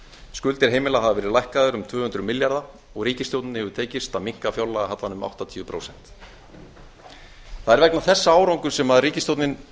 skuldir heimila hafa verið lækkaðar um tvö hundruð milljarða og ríkisstjórninni hefur tekist að minnka fjárlagahallann um áttatíu prósent það er vegna þessa árangurs sem ríkisstjórnin